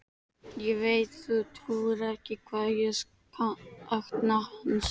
Ég veit þú trúir ekki hvað ég sakna hans.